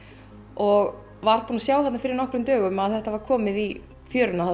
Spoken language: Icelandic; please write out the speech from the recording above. og var búinn að sjá þarna fyrir nokkrum dögum að þetta var komið í fjöruna